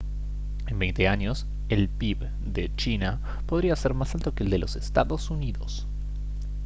en veinte años el pib de china podría ser más alto que el de los estados unidos